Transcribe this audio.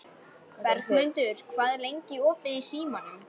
Bergmundur, hvað er lengi opið í Símanum?